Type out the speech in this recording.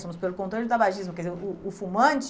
Somos pelo controle do tabagismo, quer dizer, o o fumante